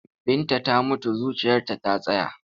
Binta ta mutu zuciyarta ta tsaya.